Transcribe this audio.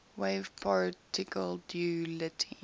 wave particle duality